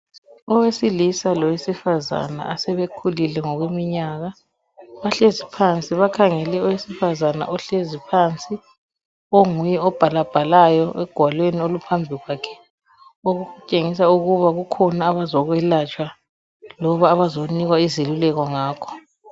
Owesilisa lowesifazana asebekhulile ngokomnyaka bahlezi phansi, bakhangele owesifazana ohlezi phansi onguye obhalabhalayo egwaleni oluphambi kwakhe okutshengisa ukuba kukhona abazokwelatshwa loba abazonikwa izeluleko ngakho.